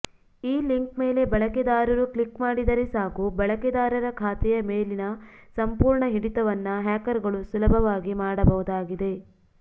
ಈ ಲಿಂಕ್ ಮೇಲೆ ಬಳಕೆದಾರರು ಕ್ಲಿಕ್ ಮಾಡಿದರೆ ಸಾಕು ಬಳಕೆದಾರರ ಖಾತೆಯ ಮೇಲಿನ ಸಂಪೂರ್ಣ ಹಿಡಿತವನ್ನ ಹ್ಯಾಕರ್ಗಳು ಸುಲಭವಾಗಿ ಮಾಡಬಹುದಾಗಿದೆ